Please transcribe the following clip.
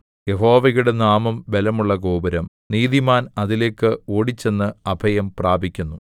യഹോവയുടെ നാമം ബലമുള്ള ഗോപുരം നീതിമാൻ അതിലേക്ക് ഓടിച്ചെന്ന് അഭയം പ്രാപിക്കുന്നു